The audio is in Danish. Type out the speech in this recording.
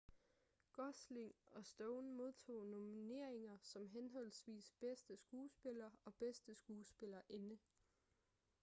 gosling og stone modtog nomineringer som henholdsvis bedste skuespiller og bedste skuespillerinde